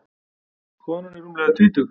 Konan er rúmlega tvítug.